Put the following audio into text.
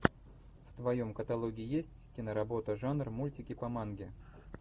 в твоем каталоге есть киноработа жанр мультики по манге